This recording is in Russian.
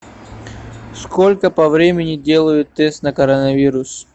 сколько по времени делают тест на коронавирус